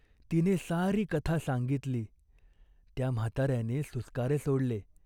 तिने सारी कथा सांगितली. त्या म्हाताऱ्याने सुस्कारे सोडले.